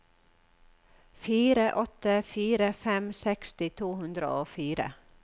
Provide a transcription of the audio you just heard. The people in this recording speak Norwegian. fire åtte fire fem seksti to hundre og fire